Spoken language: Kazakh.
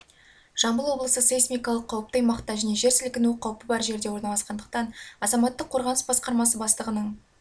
жамбыл облысы сейсмикалық қауіпті аймақта және жер сілкіну қауіпі бар жерде орналасқандықтан азаматтық қорғаныс басқармасы бастығының